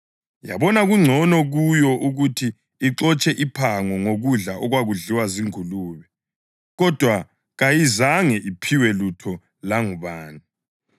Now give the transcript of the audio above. Yabona kungcono kuyo ukuthi ixotshe iphango ngokudla okwakudliwa zingulube, kodwa kayizange iphiwe lutho langubani.